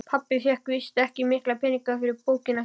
Pabbi fékk víst ekki mikla peninga fyrir bókina sína.